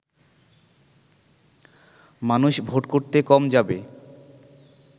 মানুষ ভোট করতে কম যাবে